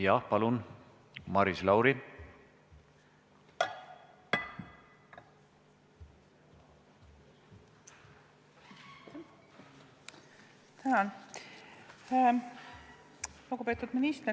Jah, palun, Maris Lauri!